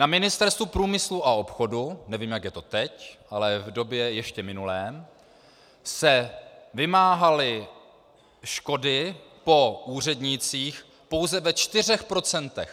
Na Ministerstvu průmyslu a obchodu - nevím, jak je to teď, ale v době ještě minulé - se vymáhaly škody po úřednících pouze ve čtyřech procentech.